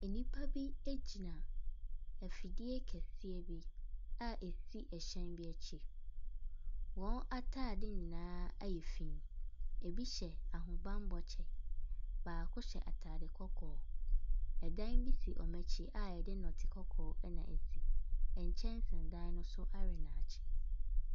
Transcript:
Nnipa bi gyina afidie kɛseɛ bi a ɛsi hyɛn kɛseɛ bi akyi, wɔn ataade nyinaa ayɛ fii, bi hyɛ ahobammɔ kyɛ, baako hyɛ ataade kɔkɔɔ, dan bi si wɔn akyi a yɛde nnɛte kɔkɔɔ na asi, nkyɛnse dan ne so awe nnaakye.